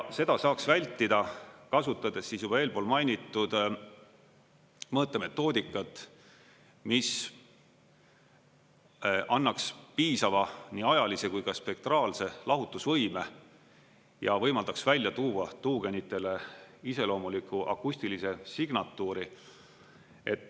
Seda saaks vältida, kasutades siis juba eelpool mainitud mõõtemetoodikat, mis annaks piisava nii ajalise kui ka spektraalse lahutusvõime ja võimaldaks välja tuua tuugenitele iseloomuliku akustilise signatuuri.